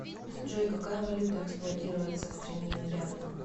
джой какая валюта эксплуатируется в стране мьянма